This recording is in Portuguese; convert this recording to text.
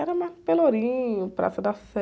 Era mais no Pelourinho, Praça da Sé.